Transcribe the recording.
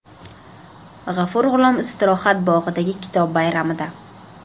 G‘afur G‘ulom istirohat bog‘idagi Kitob bayramida.